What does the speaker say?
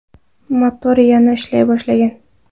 Motor yana ishlay boshlagan.